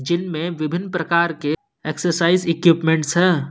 Gym में विभिन्न प्रकार के एक्सरसाइज इक्यूपमेंट्स है।